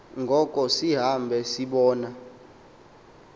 ngoko sihambe sibona